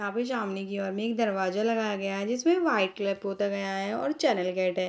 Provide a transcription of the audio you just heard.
यहाँ पे सामने की ओर में एक दरवाजा लगया गया है जिसमे वाइट कलर पोता गया है और चैनल गेट है ।